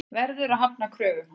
Verður að hafna kröfum hans.